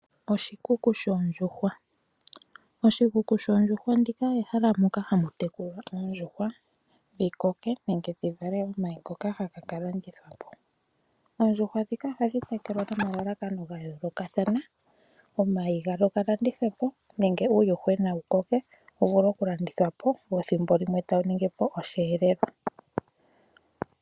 Oshikuku shoondjuhwa. Oshikuku shoondjuhwa ndika ehala moka hamu tekulwa oondjuhwa dhi koke nenge dhi vale omayi ngoka haga ka landithwa po. Oondjuhwa ndhika ohadhi tekulwa nomalalakano ga yoolokathana. Omayi gadho ga landithwe po nenge uuyuhwena wu koke wu vuke okulandithwa po, wo thimbo limwe tawu ningi po osheelelwa.